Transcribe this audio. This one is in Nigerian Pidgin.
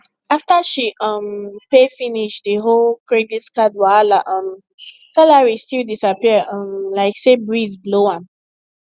after she um pay finish the whole credit card wahala um salary still disappear um like say breeze blow am